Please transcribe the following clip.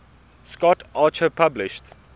scott archer published